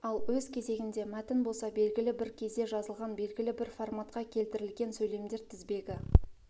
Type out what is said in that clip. ал өз кезегінде мәтін болса белгілі бір кезде жазылған белгілі бір форматқа келтірілген сөйлемдер тізбегі